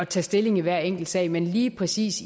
tage stilling i hver enkelt sag men lige præcis